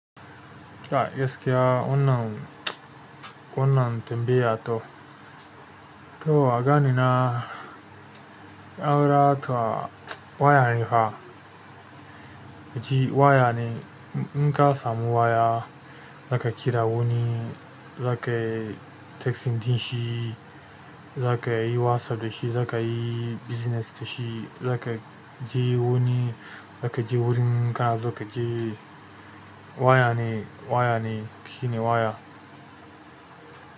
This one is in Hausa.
Kai gaskiya, wannan tambaya to. To agani na aura ta waya ne fa. Yace waya ne, in ka samu waya, zaka kira wani, zaka yi texting ɗin shi, zaka yi WhatsApp da shi, zaka yi business da shi, zaka je wani, zaka je wurin kana so ka je waya ne, waya ne, shi ne waya.